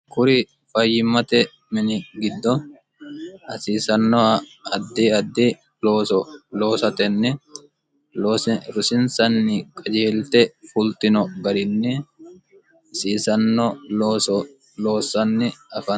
kuri fayyimmate mini giddo hasiisannoha addi addi looso loosatenni rosinsanni qajeelte fultino garinni hasiisanno looso loossanni afantanno.